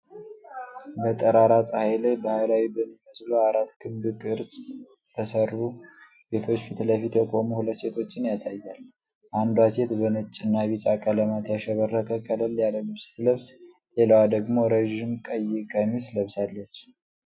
በጠራራ ፀሐይ ላይ ባህላዊ በሚመስሉ አራት በክብ ቅርጽ በተሠሩ ቤቶች ፊት ለፊት የቆሙ ሁለት ሴቶችን ያሳያል። አንዷ ሴት በነጭና ቢጫ ቀለማት ያሸበረቀ ቀላል ልብስ ስትለብስ፤ ሌላዋ ደግሞ ረዥም ቀይ ቀሚስ ለብሳለች።